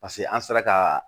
Paseke an sera ka